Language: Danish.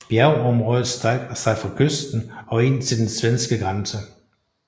Bjergområdet strækker sig fra kysten og ind til den svenske grænse